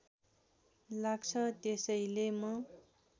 लाग्छ त्यसैले म